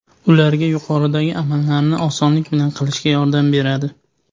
ularga yuqoridagi amallarni osonlik bilan qilishga yordam beradi.